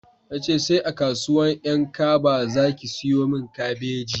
Na ce sai a kasuwan 'yan kaba za ki siyomin kabeji